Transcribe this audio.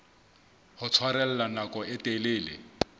ho tshwarella nako e telele